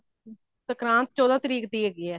ਸੰਗਰਾਂਦ ਚੋਹਦਾ ਤਰੀਕ ਦੀ ਹੈਗੀ ਹੈ